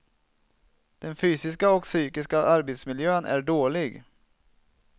Den fysiska och psykiska arbetsmiljön är dålig.